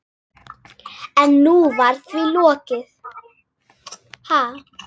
En nú var því lokið.